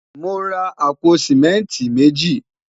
mọ rà àpò simẹnti meji